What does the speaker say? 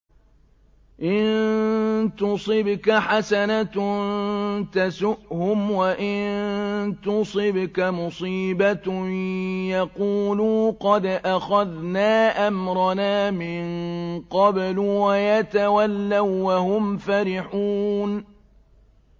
إِن تُصِبْكَ حَسَنَةٌ تَسُؤْهُمْ ۖ وَإِن تُصِبْكَ مُصِيبَةٌ يَقُولُوا قَدْ أَخَذْنَا أَمْرَنَا مِن قَبْلُ وَيَتَوَلَّوا وَّهُمْ فَرِحُونَ